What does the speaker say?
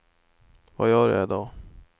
vad gör jag idag